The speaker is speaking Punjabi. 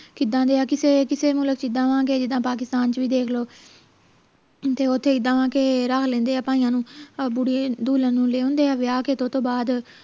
ਕਿਦਾਂ ਦੇ ਆ ਕਿਸੇ ਕਿਸੇ ਮੁਲਕ ਚ ਇੱਦਾਂ ਵਾ ਕਿ ਪਾਕਿਸਤਾਨ ਚ ਵੀ ਦੇਖ ਲਉ ਤੇ ਓਥੇ ਇੱਦਾਂ ਵਾ ਕਿ ਲੈਂਦੇ ਆ ਭਾਈਆਂ ਨੂੰ ਬੁੜੀ ਦੁਲਹਨ ਨੂੰ ਲੈ ਆਉਂਦੇ ਆ ਵਿਆਹ ਕੇ ਤੇ ਓਹਤੋਂ ਬਾਅਦ